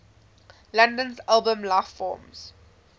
london's album lifeforms